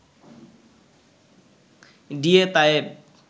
D A Tayeb